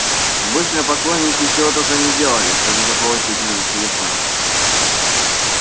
обычно поклонники чего только не делали чтобы заполучить номер телефона